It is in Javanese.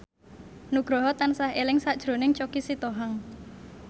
Nugroho tansah eling sakjroning Choky Sitohang